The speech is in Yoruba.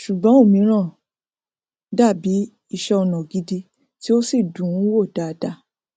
ṣùgbọn ọmíràn dàbí iṣẹọnà gidi tí ó sì dùnún wò dáadáa